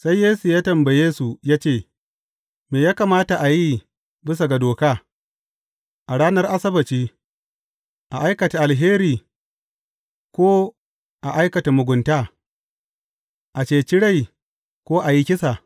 Sai Yesu ya tambaye su ya ce, Me ya kamata a yi bisa ga doka, a ranar Asabbaci, a aikata alheri, ko a aikata mugunta, a ceci rai, ko a yi kisa?